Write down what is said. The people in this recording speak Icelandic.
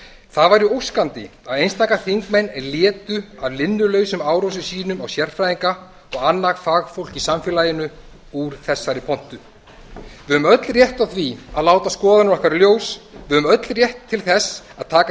það væri óskandi að einstaka þingmenn létu af linnulausum árásum sínum á sérfræðinga og annað fagfólk í samfélaginu úr þessari pontu við eigum öll rétt á því að láta skoðanir okkar í ljós við eigum öll rétt til þess að taka